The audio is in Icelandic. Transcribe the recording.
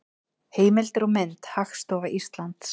Heimildir og mynd: Hagstofa Íslands.